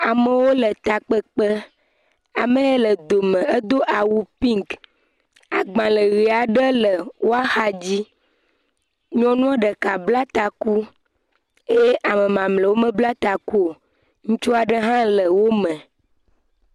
Amewo le takpekpe. Ame yi le dome edo awu piŋki. Agbalẽ ʋe aɖe le wo axadzi. Nyɔnua ɖeka bla taku eye ame mamlɛwo mebla taku o. Ŋutsua aɖe hã le wome.